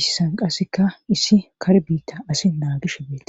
issan qasseka issi kar biitta asi naagishe beetes